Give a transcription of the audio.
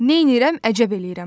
Neyninirəm əcəb eləyirəm.